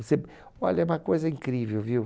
olha, é uma coisa incrível, viu?